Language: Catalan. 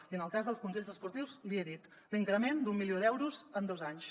i en el cas dels consells esportius l’hi he dit l’increment d’un milió d’euros en dos anys